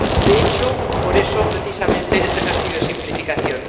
De hecho, por eso precisamente, este ejercicio de simplificación.